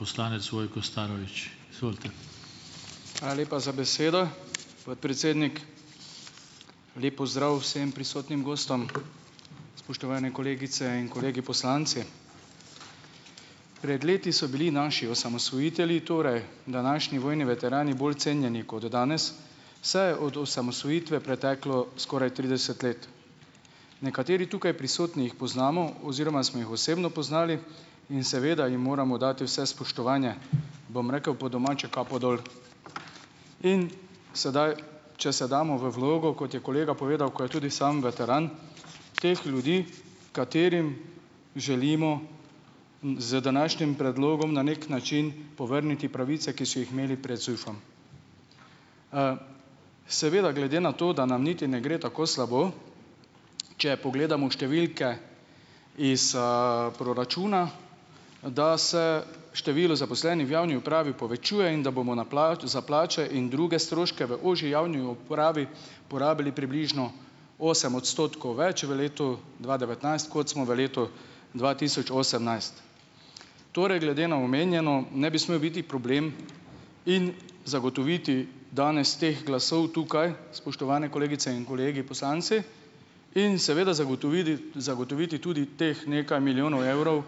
Poslanec Vojko Starovič, izvolite. Hvala lepa za besedo, podpredsednik, lep pozdrav vsem prisotnim gostom, spoštovane kolegice in kolegi poslanci. Pred leti so bili naši osamosvojitelji, torej današnji vojni veterani, bolj cenjeni kot danes, saj je od osamosvojitve preteklo skoraj trideset let, nekateri tukaj prisotni jih poznamo oziroma smo jih osebno poznali, in seveda jim moramo dati vse spoštovanje, bom rekel po domače, kapo dol, in sedaj, če se damo v vlogo, kot je kolega povedal, ko je tudi sam veteran, teh ljudi, katerim želimo z današnjim predlogom na neki način povrniti pravice, ki so jih imeli pred ZUJF-om, seveda glede na to, da nam niti ne gre tako slabo, če pogledamo številke iz, proračuna, da se število zaposlenih v javni upravi povečuje in da bomo za plače in druge stroške v ožji javni upravi porabili približno osem odstotkov več v letu dva devetnajst, kot smo v letu dva tisoč osemnajst, torej glede na omenjeno ne bi smel biti problem in zagotoviti danes teh glasov tukaj, spoštovane kolegice in kolegi poslanci, in seveda zagotovili, zagotoviti tudi teh nekaj milijonov evrov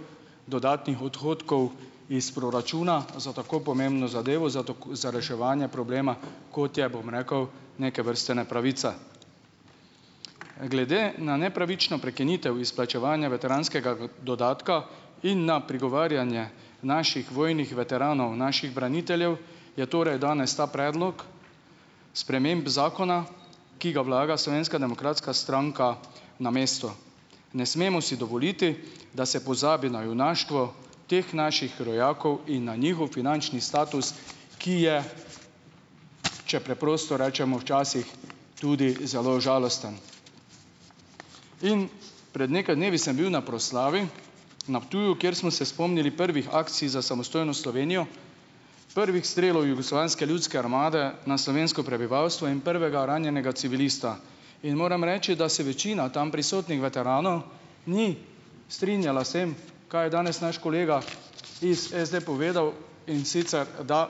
dodatnih odhodkov iz proračuna za tako pomembno zadevo za za reševanje problema, kot je, bom rekel, neke vrste nepravica, glede na nepravično prekinitev izplačevanja veteranskega dodatka in na prigovarjanje naših vojnih veteranov, naših braniteljev, je torej danes ta predlog sprememb zakona, ki ga vlaga slovenska demokratska stranka namesto, ne smemo si dovoliti, da se pozabi na junaštvo teh naših rojakov in na njihov finančni status, ki je, če preprosto rečemo, včasih tudi zelo žalosten, in pred nekaj dnevi sem bil na proslavi na Ptuju, kjer smo se spomnili prvih akcij za samostojno Slovenijo, prvih strelov Jugoslovanske ljudske armade na slovensko prebivalstvo in prvega ranjenega civilista, in moram reči, da se večina tam prisotnih veteranov ni strinjala s tem, kaj je danes naš kolega iz SD povedal, in sicer da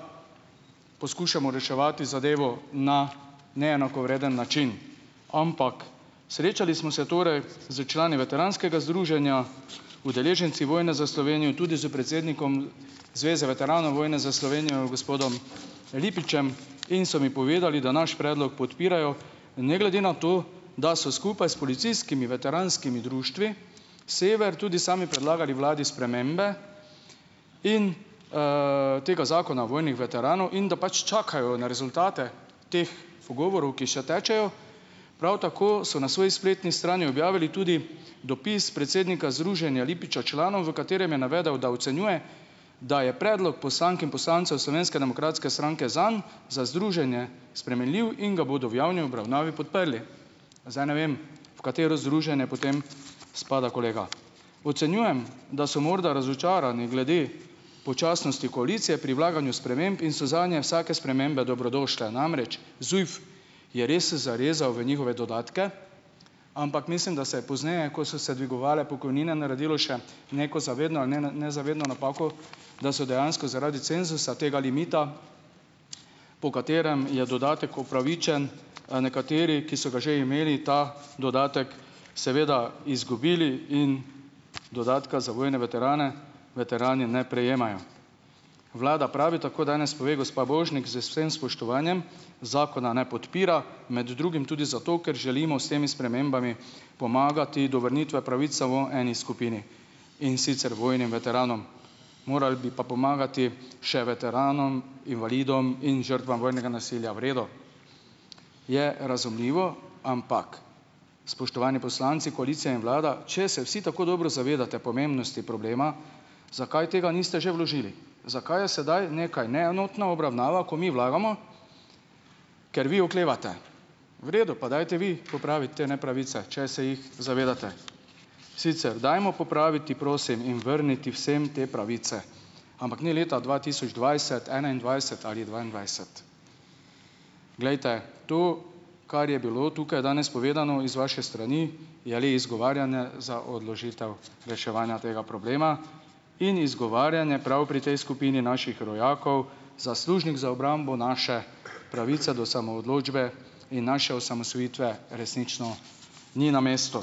poskušamo reševati zadevo na neenakovreden način, ampak srečali smo se torej s člani veteranskega združenja Udeleženci vojne za Slovenijo, tudi s predsednikom Zveze veteranov vojne za Slovenijo gospodom Lipičem, in so mi povedali, da naš predlog podpirajo, ne glede na to, da so skupaj s policijskimi veteranskimi društvi Sever tudi sami predlagali vladi spremembe, in, tega zakona o vojnih veteranov in da pač čakajo na rezultate teh pogovorov, ki še tečejo, prav tako so na svoji spletni strani objavili tudi dopis predsednika združenja Lipiča članom, v katerem je navedel, da ocenjuje, da je predlog poslank in poslancev Slovenske demokratske stranke zanj, za združenje spremenljiv in ga bodo v javni obravnavi podprli. Zdaj, ne vem, v katero združenje potem spada kolega, ocenjujem, da so morda razočarani glede počasnosti koalicije pri vlaganju sprememb in so zanje vsake spremembe dobrodošle, namreč ZUJF je res zarezal v njihove dodatke, ampak mislim, da se je pozneje, ko so se dvigovale pokojnine, naredilo še neko zavedno nezavedno napako, da so dejansko zaradi cenzusa tega limita, po katerem je dodatek upravičen, nekateri, ki so ga že imeli, ta dodatek seveda izgubili in dodatka za vojne veterane veterani ne prejemajo. Vlada pravi, tako danes pove gospa Božnik, z vsem spoštovanjem, zakona ne podpira, med drugim tudi zato, ker želimo s temi spremembami pomagati do vrnitve pravice v eni skupini, in sicer vojnim veteranom, morali bi pa pomagati še veteranom invalidom in žrtvam vojnega nasilja. V redu, je razumljivo, ampak, spoštovani poslanci, koalicija in vlada, če se vsi tako dobro zavedate pomembnosti problema, zakaj tega niste že vložili, zakaj je sedaj nekaj neenotna obravnava, ko mi vlagamo, ker vi oklevate, v redu, pa dajte vi popraviti te nepravice, če se jih zavedate, sicer dajmo popraviti, prosim, in vrniti vsem te pravice, ampak ni leta dva tisoč dvajset, enaindvajset ali dvaindvajset. Glejte, to, kar je bilo tukaj danes povedano iz vaše strani, je le izgovarjanje za odložitev reševanja tega problema in izgovarjanje prav pri tej skupini naših rojakov, zaslužnih za obrambo naše pravice do samoodločbe in naše osamosvojitve, resnično ni na mestu,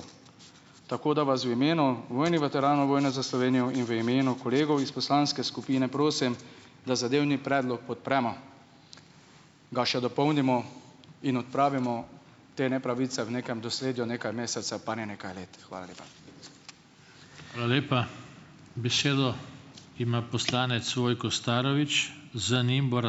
ta, da vas v imenu vojnih veteranov vojne za Slovenijo in v imenu kolegov iz poslanske skupine prosim, da zadevni predlog podpremo, ga še dopolnimo in odpravimo te nepravice v nekem, nekaj mesecev pa ne nekaj let, hvala lepa. Hvala lepa. Besedo ima poslanec Vojko Starovič, z njim bo ...